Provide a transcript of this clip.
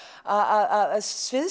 að